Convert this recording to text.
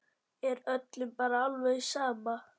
Er öllum bara alveg sama?